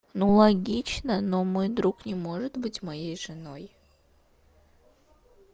ну логично но мой друг не может быть моей женой